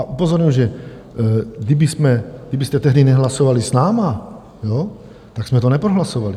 A upozorňuji, že kdybyste tehdy nehlasovali s námi, tak jsme to neprohlasovali.